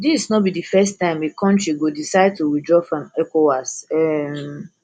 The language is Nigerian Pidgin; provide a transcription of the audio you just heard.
dis no be di first time a kontri go decide to withdraw from ecowas um